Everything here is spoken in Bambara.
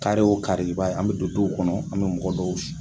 Kari o kari i b'a ye an bɛ don duw kɔnɔ an bɛ mɔgɔ dɔw